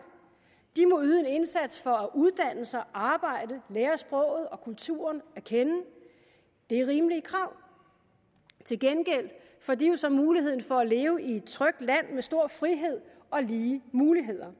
de må yde en indsats for at uddanne sig arbejde lære sproget og kulturen at kende det er rimelige krav til gengæld får de jo så mulighed for at leve i et trygt land med stor frihed og lige muligheder